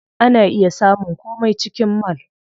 Ana iya samun komai a cikin mall.